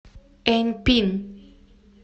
эньпин